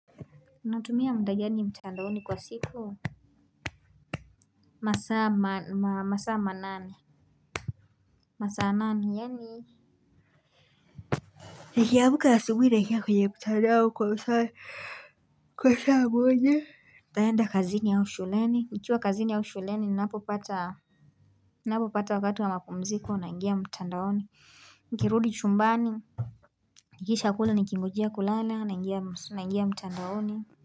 Unatumia muda gani mtandaoni kwa siku? Masaa masaa manane yani nikiamka asubuhi naingia kwenye mtandaoni kwa saa moja naenda kazini au shuleni nikiwa kazini au shuleni ninapo pata wakati wa mapumziko naingia mtandaoni nikirudi chumbani. Nikishakula nikingojea kulala naingia mtandaoni.